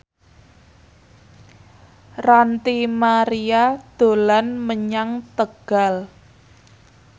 Ranty Maria dolan menyang Tegal